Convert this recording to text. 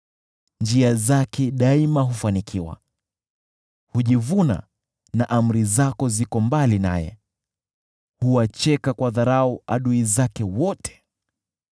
Njia zake daima hufanikiwa; hujivuna na amri zako ziko mbali naye, huwacheka kwa dharau adui zake wote.